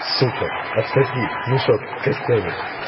сука отсоси мешок с костями